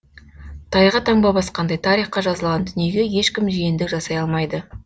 тайға таңба басқандай тарихқа жазылған дүниеге ешкім жиендік жасай алмайды